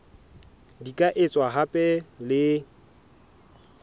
di ka etswa hape le